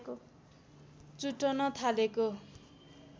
चुटन थालेको